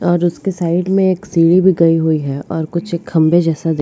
और उसके साइड में एक सीढ़ी भी गई हुई है और कुछ एक खंबे जैसा --